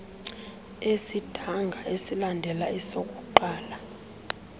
esidanga esilandela esokuqala